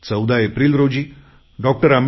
14 April रोजी डॉ